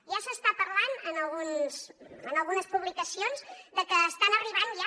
ja s’està parlant en algunes publicacions de que estan arribant ja